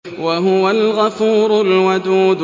وَهُوَ الْغَفُورُ الْوَدُودُ